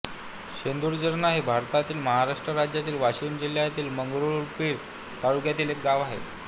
शेंदुर्जणा हे भारतातील महाराष्ट्र राज्यातील वाशिम जिल्ह्यातील मंगरुळपीर तालुक्यातील एक गाव आहे